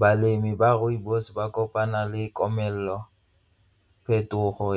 Balemi ba rooibos ba kopana le komelelo, phetogo